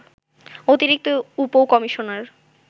অতিরিক্ত উপ কমিশনার